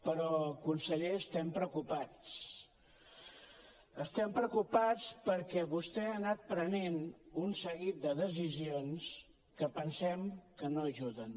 però conseller estem preocupats estem preocupats perquè vostè ha anat prenent un seguit de decisions que pensem que no ajuden